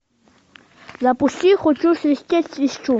запусти хочу свистеть свищу